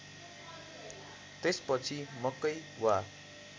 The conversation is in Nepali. त्यसपछि मकै वा